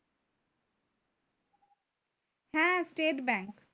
হ্যাঁ